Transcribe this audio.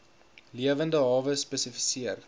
lewende hawe spesifiseer